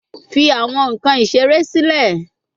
Fi awọn nkan isere silẹ